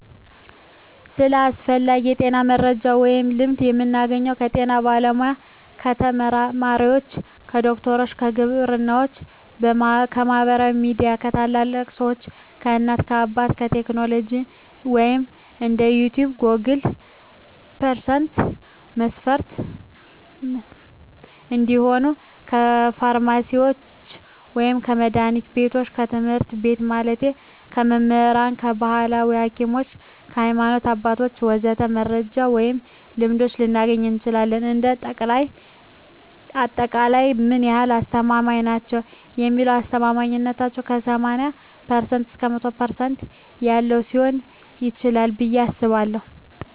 ስለ አስፈላጊ የጤና መረጃ ወይም ልምዶች የምናገኘው ከጤና ባለሙያ፣ ከተመራማሪዎች፣ ከዶክተሮች፣ ከግብርናዎች፣ ከማህበራዊ ሚዲያ፣ ከታላላቅ ሰዎች፣ ከእናት አባት፣ ከቴክኖሎጂ ወይም እንደ ዩቲቭ ጎግል% መስፍፍት እንዲሁም ከፍርማሲስቶች ወይም ከመድሀኒት ቢቶች፣ ከትምህርት ቤት ማለቴ ከመምህራኖች፣ ከባህላዊ ሀኪሞች፣ ከሀይማኖት አባቶች ወዘተ..... መረጃ ወይም ልምዶች ልናገኝ እንችላለን። እንደ አጠቃላይ ምን ያህል አስተማማኝ ናቸው ለሚለው አስተማማኝነታው ከ80% እስከ 100% ባለው ሊሆን ይችላል ብየ አስባለሁ።